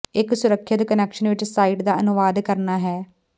ਇੱਕ ਸੁਰੱਖਿਅਤ ਕੁਨੈਕਸ਼ਨ ਵਿੱਚ ਸਾਈਟ ਦਾ ਅਨੁਵਾਦ ਕਰਨਾ ਹੈ